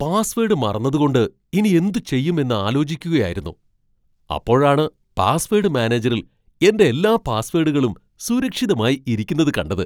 Password മറന്നതുകൊണ്ട് ഇനി എന്തുചെയ്യും എന്ന് ആലോചിക്കുകയായിരുന്നു, അപ്പോഴാണ് പാസ്വേഡ് മാനേജറിൽ എൻ്റെ എല്ലാ പാസ്വേഡുകളും സുരക്ഷിതമായി ഇരിക്കുന്നത് കണ്ടത്.